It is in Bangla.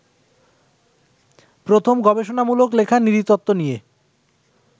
প্রথম গবেষণামূলক লেখা নৃতত্ত্ব নিয়ে